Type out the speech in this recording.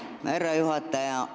Aitäh, härra juhataja!